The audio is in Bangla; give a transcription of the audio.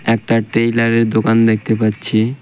একটা টেইলারের দোকান দেখতে পাচ্ছি .